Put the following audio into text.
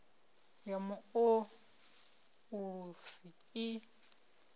ya mu o ulusi i